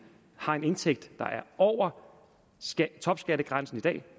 har en indtægt der er over topskattegrænsen i dag